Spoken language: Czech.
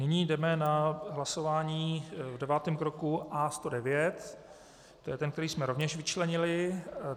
Nyní jdeme na hlasování v devátém kroku A109, to je ten, který jsme rovněž vyčlenili.